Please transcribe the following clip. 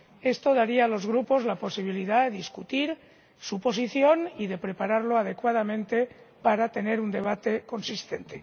Esto daría a los grupos la posibilidad de acordar su posición y de poder prepararse adecuadamente para tener un debate consistente.